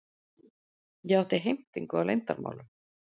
Ég átti heimtingu á leyndarmálum.